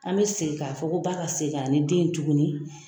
An bɛ segin k'a fɔ ko ba ka segin ka na ni den ye tuguni.